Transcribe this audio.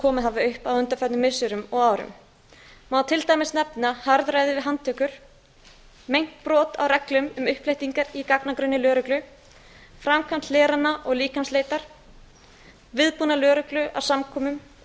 komið hafa upp á undanförnum missirum og árum má til dæmis nefna harðræði við handtökur meint brot á reglum um uppflettingar í gagnagrunni lögreglu framkvæmd hlerana og líkamsleitar viðbúnað lögreglu á samkomum og